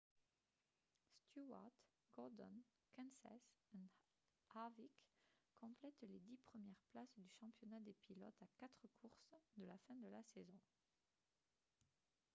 stewart gordon kenseth et harvick complètent les dix premières places du championnat des pilotes à quatre courses de la fin de la saison